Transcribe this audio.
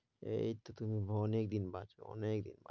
এই তো তুমি অনেক দিন বাঁচবে অনেকদিন।